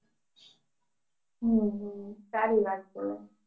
હમ હમ સારી વાત છે